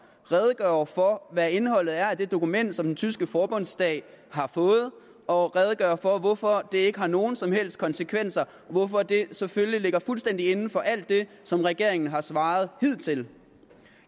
redegjorde for hvad indholdet er af det dokument som den tyske forbundsdag har fået og redegjorde for hvorfor det ikke har nogen som helst konsekvenser hvorfor det selvfølgelig ligger fuldstændig inden for alt det som regeringen har svaret hidtil